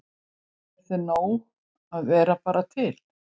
Er þeim nóg að vera bara til?